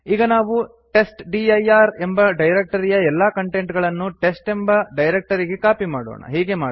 ಈಗ ನಾವು ಟೆಸ್ಟ್ಡಿರ್ ಎಂಬ ಡೈರಕ್ಟರಿಯ ಎಲ್ಲಾ ಕಂಟೆಂಟ್ ಗಳನ್ನು ಟೆಸ್ಟ್ ಎಂಬ ಡೈರಕ್ಟರಿಗೆ ಕಾಪಿ ಮಾಡೋಣ